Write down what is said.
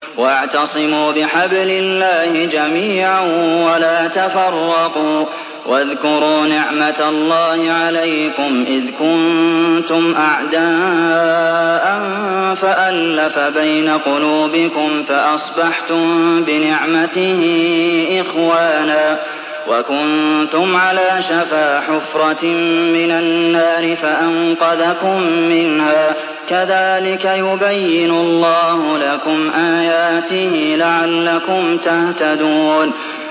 وَاعْتَصِمُوا بِحَبْلِ اللَّهِ جَمِيعًا وَلَا تَفَرَّقُوا ۚ وَاذْكُرُوا نِعْمَتَ اللَّهِ عَلَيْكُمْ إِذْ كُنتُمْ أَعْدَاءً فَأَلَّفَ بَيْنَ قُلُوبِكُمْ فَأَصْبَحْتُم بِنِعْمَتِهِ إِخْوَانًا وَكُنتُمْ عَلَىٰ شَفَا حُفْرَةٍ مِّنَ النَّارِ فَأَنقَذَكُم مِّنْهَا ۗ كَذَٰلِكَ يُبَيِّنُ اللَّهُ لَكُمْ آيَاتِهِ لَعَلَّكُمْ تَهْتَدُونَ